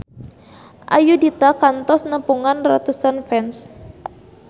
Ayudhita kantos nepungan ratusan fans